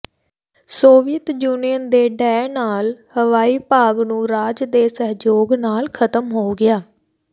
Soviet Union ਦੇ ਢਹਿ ਨਾਲ ਹਵਾਈ ਭਾਗ ਨੂੰ ਰਾਜ ਦੇ ਸਹਿਯੋਗ ਨਾਲ ਖਤਮ ਹੋ ਗਿਆ